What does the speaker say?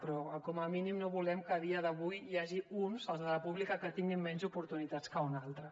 però com a mínim no volem que a dia d’avui n’hi hagi uns els de la pública que tinguin menys oportunitats que uns altres